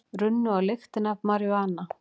Runnu á lyktina af maríjúana